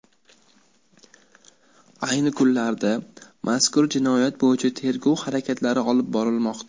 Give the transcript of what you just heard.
Ayni kunlarda mazkur jinoyat bo‘yicha tergov harakatlari olib borilmoqda.